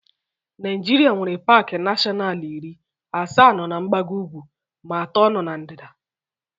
Naịjirịa nwere paaki nashọnalu iri, asaa nọ na mgbago ugwu ma atọ nọ na ndịda.